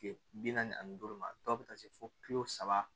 Kile bi naani ani duuru ma dɔw bi taa se fo kilo saba